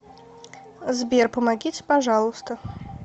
сбер помогите пожалуйста